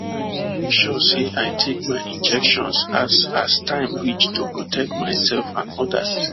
i dey make sure say i take my injections as as time reach to protect myself and others